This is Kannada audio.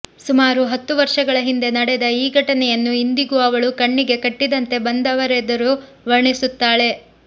ಸುಮಾರು ಹತ್ತು ವರ್ಷಗಳ ಹಿಂದೆ ನಡೆದ ಈ ಘಟನೆಯನ್ನು ಇಂದಿಗೂ ಅವಳು ಕಣ್ಣಿಗೆ ಕಟ್ಟಿದಂತೆ ಬಂದವರೆದುರು ವರ್ಣಿಸುತ್ತಾಳೆ